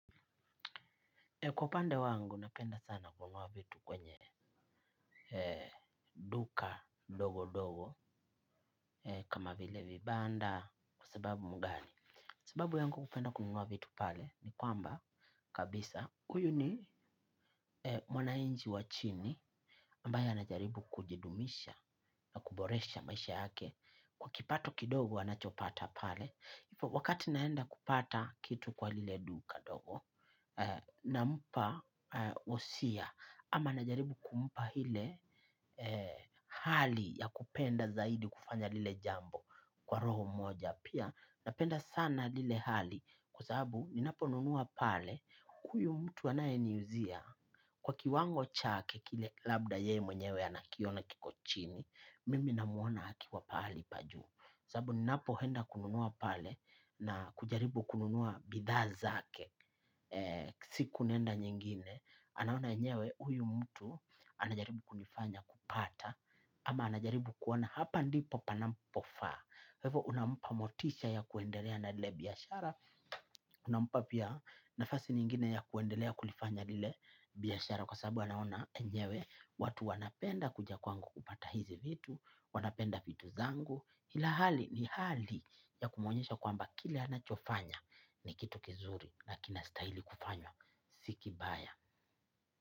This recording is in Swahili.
Kwa pande wangu, napenda sana kununua vitu kwenye duka dogo dogo kama vile vibanda kwa sababu mgani. Sababu yangu kupenda kununua vitu pale ni kwamba kabisa huyu ni mwananchi wa chini ambaye anajaribu kujidumisha, kuboresha maisha yake. Kwa kipato kidogo, anachopata pale. Hivyo wakati naenda kupata kitu kwa lile duka dogo na mpa wosia ama najaribu kumpa ile hali ya kupenda zaidi kufanya lile jambo kwa roho moja pia napenda sana lile hali kwasababu ninapo nunua pale huyu mtu anayeni uzia kwa kiwango chake kile labda yeye mwenyewe anakiona kiko chini mimi namuona akiwa pahali pa juu kwasababu ninapo enda kununua pale na kujaribu kununua bidhaa zake si naenda nyingine anaona enyewe huyu mtu anajaribu kunifanya kupata ama anajaribu kuona hapa ndipo panapofaa kwa hivyo unampa motisha ya kuendelea na ile biyashara unampa pia nafasi nyingine ya kuendelea kulifanya ile biashara kwa sababu anaona enyewe watu wanapenda kuja kwangu kupata hizi vitu wanapenda vitu zangu. Hila hali ni hali ya kumwonyesha kwamba kile anachofanya ni kitu kizuri na kina stahili kufanywa. Sii kibaya.